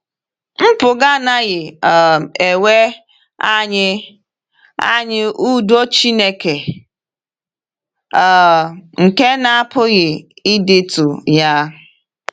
Mpụga anaghị um ewe anyị anyị “udo Chineke um nke na-apụghị ịdịtụ ya.”